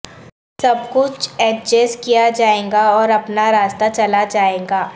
سب کچھ ایڈجسٹ کیا جائے گا اور اپنا راستہ چلا جائے گا